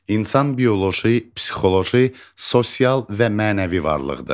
İnsan bioloji, psixoloji, sosial və mənəvi varlıqdır.